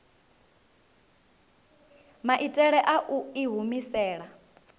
maitele a u i humisela